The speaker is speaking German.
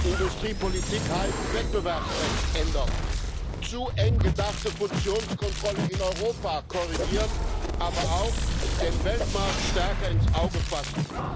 Industriepolitik heißt, Wettbewerbsrecht ändern, zu eng gedachte Fusionskontrolle in Europa korrigieren, aber auch den Weltmarkt stärker ins Auge fassen.